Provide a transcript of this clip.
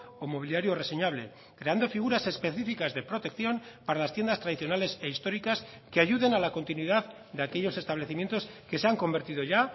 o mobiliario reseñable creando figuras específicas de protección para las tiendas tradicionales e históricas que ayuden a la continuidad de aquellos establecimientos que se han convertido ya